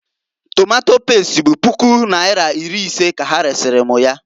Tomato pest bụ puku naira iri ise ka ha resara m ya.